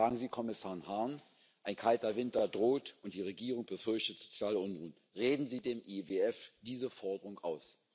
Fragen Sie Kommissar Hahn Ein kalter Winter droht, und die Regierung befürchtet soziale Unruhen. Reden Sie dem IWF diese Forderung aus!